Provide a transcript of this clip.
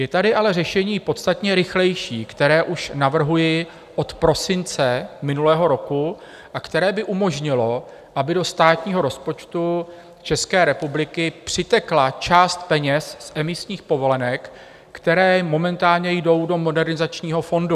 Je tady ale řešení podstatně rychlejší, které už navrhuji od prosince minulého roku a které by umožnilo, aby do státního rozpočtu České republiky přitekla část peněz z emisních povolenek, které momentálně jdou do Modernizačního fondu.